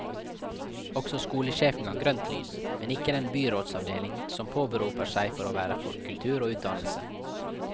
Også skolesjefen ga grønt lys, men ikke den byrådsavdeling som påberoper seg å være for kultur og utdannelse.